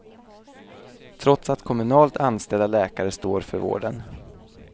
Trots att kommunalt anställda läkare står för vården.